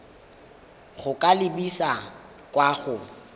go ka lebisa kwa go